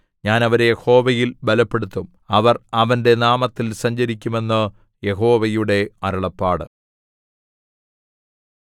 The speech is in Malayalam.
ഞാൻ അവരെ യഹോവയിൽ ബലപ്പെടുത്തും അവർ അവന്റെ നാമത്തിൽ സഞ്ചരിക്കും എന്നു യഹോവയുടെ അരുളപ്പാട്